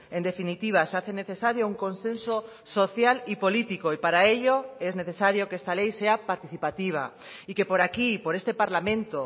en definitiva se hace necesario un consenso social y político y para ello es necesario que esta ley sea participativa y que por aquí por este parlamento